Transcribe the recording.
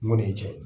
Mun de ye cɛ ye